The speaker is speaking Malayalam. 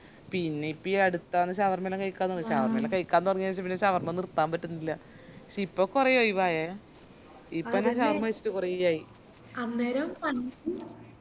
പിന്നെപ്പോ ഈ അടുത്താന്ന് shawarma എല്ലാം കായ്ക്കാൻ തൊടങ്ങിയെ shawarma എല്ലാം കായ്ക്കാൻ തുടങ്ങിയ എനക്ക് പിന്നെ shawarma നിർത്താൻ പറ്റുന്നില്ല പഷിപ്പോ കൊറേ ഒയിവായെ ഇപ്പൊ ഞാൻ shawarma കൈച്ചിറ്റ് കൊറേ ആയി